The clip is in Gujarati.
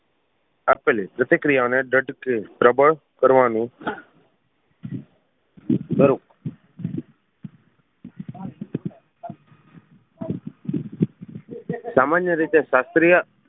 આપેલી પ્રતિક્રિયાઓને દ્રઢથી પ્રબળ કરવાનુ સામાન્ય રીતે શાસ્ત્રીય